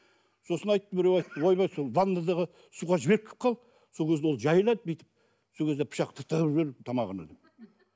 сосын айтты біреу айтты ойбай сол ваннадағы суға жіберіп кеп қал сол кезде ол жайылады бүйтіп сол кезде пышақты тығып жібер тамағына деп